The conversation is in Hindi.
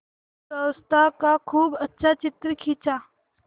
पूर्वावस्था का खूब अच्छा चित्र खींचा